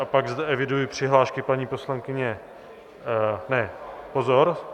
A pak zde eviduji přihlášky paní poslankyně - ne, pozor.